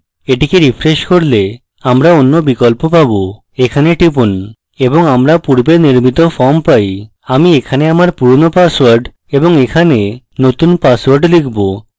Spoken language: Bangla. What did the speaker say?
এটিকে refresh করলে আমরা অন্য বিকল্প পাবো এখানে টিপুন এবং আমরা পূর্বে নির্মিত form পাই আমি এখানে আমার পুরনো পাসওয়ার্ড এবং এখানে নতুন পাসওয়ার্ড লিখব